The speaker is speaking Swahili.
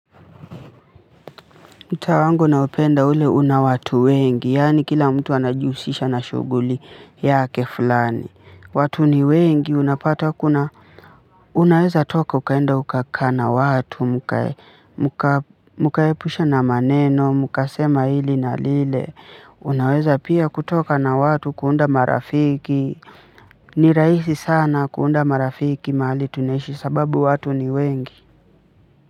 Mtaa wangu naupenda ule una watu wengi, yaani kila mtu anajihusisha na shughuli yake fulani. Watu ni wengi, unapata kuna. Unaeza ukatoka ukaenda ukakaa na watu mkaepusha na maneno mkasema hili na lile unaweza pia kutoka na watu kuunda marafiki. Ni rahisi sana kuunda marafiki mahali tunaishi sababu watu ni wengi.